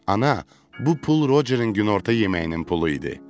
Ana, bu pul Rocerin günorta yeməyinin pulu idi.